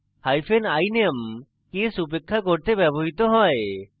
hyphen iname case উপেক্ষা করতে ব্যবহৃত হয়